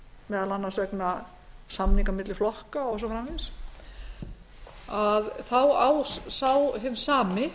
meðal annars vegna samninga milli flokka og svo framvegis þá á hinn sami